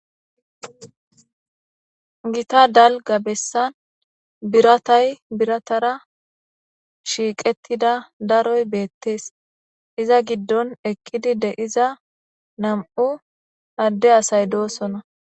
gita dalga bessan biratay biratara shiiqettida daroy beettees iza giddon ekkidi de iza nam7u adde asay doosona